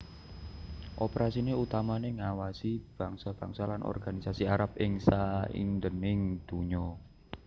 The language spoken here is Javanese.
Operasiné utamané ngawasi bangsa bangsa lan organisasi Arab ing saindhenging donya